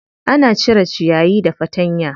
Ana cire ciyayi da fatanya.